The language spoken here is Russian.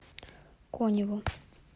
коневу